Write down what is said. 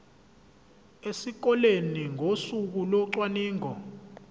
esikoleni ngosuku locwaningo